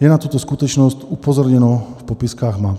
je na tuto skutečnost upozorněno v popiskách map.